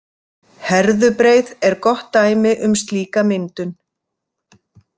Herðubreið er gott dæmi um slíka myndun.